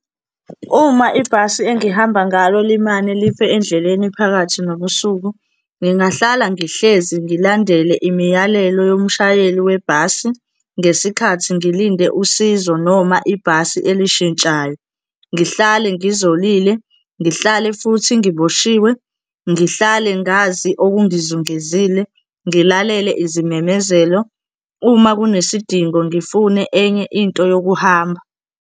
Uma ibhasi engihamba ngalo limane life endleleni phakathi nobusuku, ngingahlala ngihlezi ngilandele imiyalelo yomshayeli webhasi ngesikhathi ngilinde usizo noma ibhasi elishintshayo, ngihlale ngizolile, ngihlale futhi ngiboshiwe, ngihlale ngazi okungizungezile, ngilalele izimemezelo. Uma kunesidingo, ngifune enye into yokuhamba.